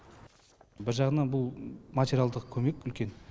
бір жағынан бұл материалдық көмек үлкен